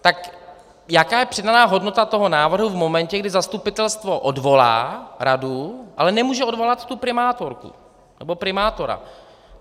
Tak jaká je přidaná hodnota toho návrhu v momentě, kdy zastupitelstvo odvolá radu, ale nemůže odvolat tu primátorku nebo primátora?